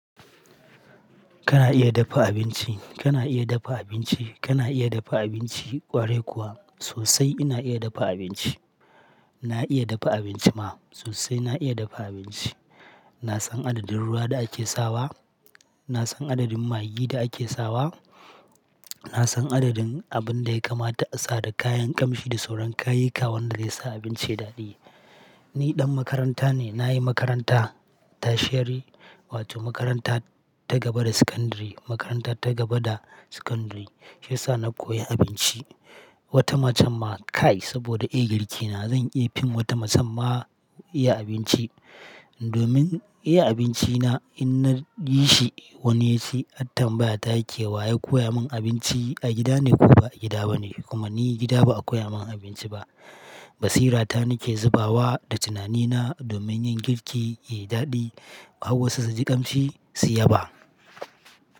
Kana iya dafa abinci, kana iya dafa abinci, kana iya dafa abinci ƙwarai kuwa? Sosai ina iya dafa abinci. Na iya dafa abinci ma. Sosai na iya dafa abinci. Na san adadin ruwa da ake sawa, na san adadin magi da ake sawa, na san adadin abin da ya kamata a sa da kayan ƙamshi da sauran kayayyika wanda zai sa abinci daɗi. Ni ɗan makaranta ne, na yi makaranta tashiri wato makaranta ta gaba da secondary, makaranta ta gaba da secondary. Shi ya sa na koyi abinci. Wata macen ma kai saboda iya girki na zan iya fim wata macen ma iya abinci. Domin iya abinci na in na yi shi wani yaci hat tambaya ta yake wa ya koya min abinci a gida ne ko ba a gida ba ne? Kuma ni gida ba a koya min abinci ba. Basira ta nake zubawa da tunani na domin yin girki yayi daɗi, hawo wasu su ji kamshi su yaba.